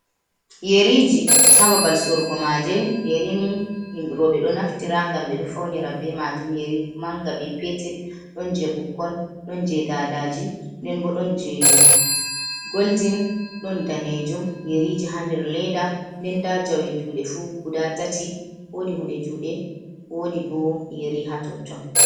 Yeriji ha babal sorugo maje, yeri ni roɓɓe ɗo naftira ngam ɓe ɗo faunira be majum, yeri manga, be petel, ɗon je ɓukkon, ɗon je dadaji, den bo ɗon je goldin, ɗon ɗanejum, yeriji ha nder leda, nden nda jawe juɗe fu guda tati, wodi hunde juɗe wodi bo yeri ha totton.